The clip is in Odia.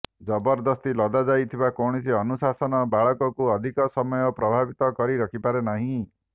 ଜବରଦସ୍ତି ଲଦାଯାଇଥିବା କୌଣସି ଅନୁଶାସନ ବାଳକକୁ ଅଧିକ ସମୟ ପ୍ରଭାବିତ କରି ରଖିପାରେ ନାହିଁ